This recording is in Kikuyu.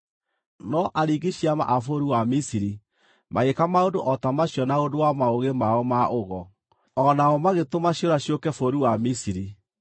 No aringi ciama a bũrũri wa Misiri magĩĩka maũndũ o ta macio na ũndũ wa maũgĩ mao ma ũgo, o nao magĩtũma ciũra ciũke bũrũri wa Misiri.